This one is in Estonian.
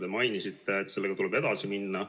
Te mainisite, et sellega tuleb edasi minna.